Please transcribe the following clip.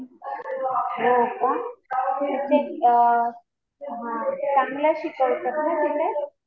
हो का. म्हणजे हा चांगलं शिकवतात ना तिथे.